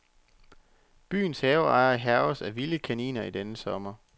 Byens haveejere hærges af vilde kaniner i denne sommer.